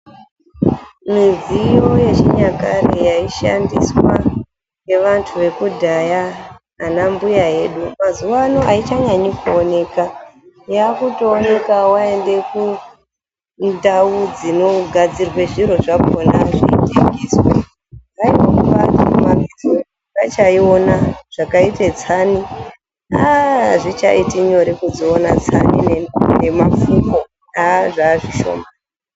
Midziyo yechinyakare yaishandiswa ngevantu vekudhaya anambuya edu, mazuwano aichanyanyi kuoneka , yakutooneka waende kundau dzinogadzirwe zviro zvakona zvinotengeswa ..........vachaiina zvakaite tsani aaaaaa azvichaiti nyore kudziona tsani nemapfuko aaa zvazvishoma.